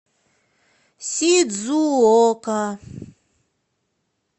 сидзуока